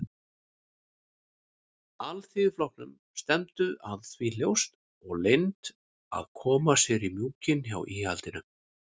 Alþýðuflokknum stefndu að því ljóst og leynt að koma sér í mjúkinn hjá íhaldinu.